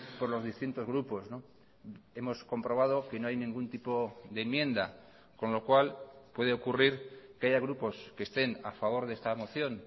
por los distintos grupos hemos comprobado que no hay ningún tipo de enmienda con lo cual puede ocurrir que haya grupos que estén a favor de esta moción